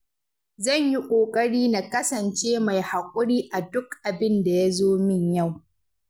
Zan yi ƙoƙari na kasance mai haƙuri a duk abin da ya zo min yau.